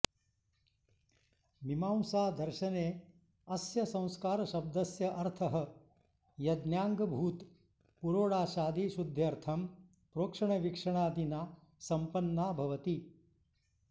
मीमांसादर्शने अस्य संस्कारशब्दस्य अर्थः यज्ञाङ्गभूत पुरोडाशादि शुद्ध्यर्थं प्रोक्षणविक्षणादिना सम्पन्ना भवति